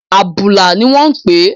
Àbùlà ni wọ́n ń pe